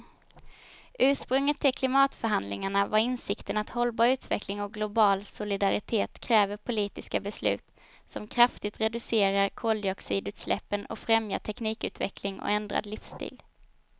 Ursprunget till klimatförhandlingarna var insikten att hållbar utveckling och global solidaritet kräver politiska beslut som kraftigt reducerar koldioxidutsläppen och främjar teknikutveckling och ändrad livsstil.